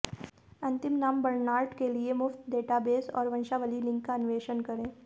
अंतिम नाम बर्नार्ड के लिए मुफ्त डेटाबेस और वंशावली लिंक का अन्वेषण करें